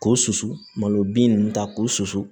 K'o susu malo bin nunnu ta k'o susu